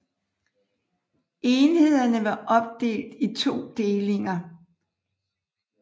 Enhederne var opdelt i 2 delinger